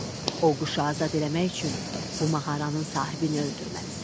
O quşu azad eləmək üçün bu mağaranın sahibini öldürməlisən.